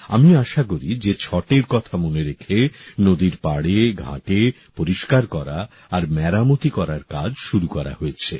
আমি আশা করি যে ছটের কথা মনে রেখে নদীর পাড়ে ঘাটে পরিষ্কার করা আর মেরামতি করার কাজ শুরু করা হয়েছে